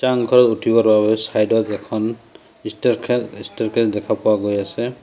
ছাংঘৰৰ উঠিব চাইড ৰ গেট খন দেখা পোৱা গৈ আছে।